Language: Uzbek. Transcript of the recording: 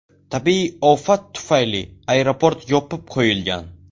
Tabiiy ofat tufayli aeroport yopib qo‘yilgan.